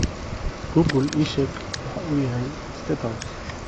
google ii sheeg waxa uu yahay state house